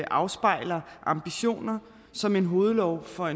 afspejler ambitioner som en hovedlov for